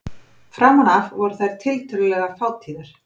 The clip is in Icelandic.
Framan af voru þær tiltölulega fátíðar.